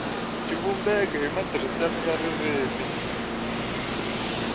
xivumbeko ni matirhisele ya ririmi